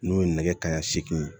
N'o ye nɛgɛ kanɲɛ seegin